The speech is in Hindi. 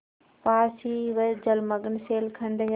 पास ही वह जलमग्न शैलखंड है